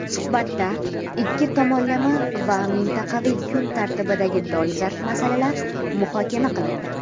Suhbatda ikki tomonlama va mintaqaviy kun tartibidagi dolzarb masalalar muhokama qilindi.